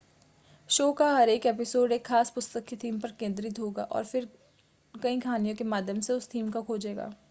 show का हर एक एपिसोड एक ख़ास पुस्तक की थीम पर केंद्रित होगा और फिर कई कहानियों के माध्यम से उस थीम को खोजेगा